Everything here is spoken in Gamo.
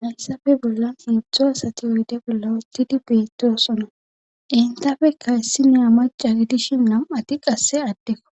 hayssafe bolla iidzdzo asati oyde bolla ottidi beettosona intafe kayssi naa maca gidishin nam7ati qasse addekko